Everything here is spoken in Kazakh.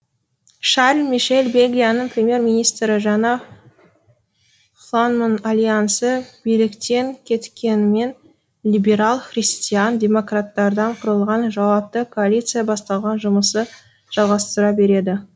шарль мишель бельгияның премьер министрі жаңа фланманд альянсы биліктен кеткенімен либерал христиан демократтардан құралған жауапты коалиция басталған жұмысты жалғастыра береді